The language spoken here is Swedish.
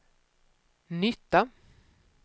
nytta